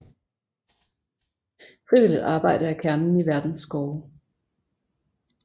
Frivilligt arbejde er kernen i Verdens Skove